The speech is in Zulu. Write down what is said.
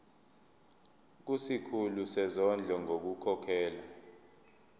kusikhulu sezondlo ngokukhokhela